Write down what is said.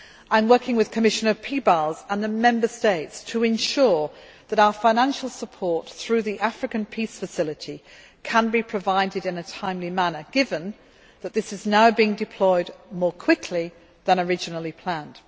I am working with Commissioner Piebalgs and the Member States to ensure that our financial support, through the African Peace Facility, can be provided in a timely manner, given that this is now being deployed more quickly than originally planned.